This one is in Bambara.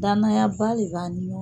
Dananayaba de b'an ni ɲɔgɔn.